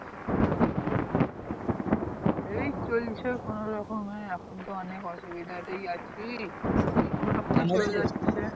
এই চলছে কোনো রকম এ এখন তো অনেক অসুবিধাতেই আছি কোনো রকম এ চলে যাচ্ছে